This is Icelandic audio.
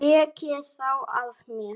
Tekið þá af mér.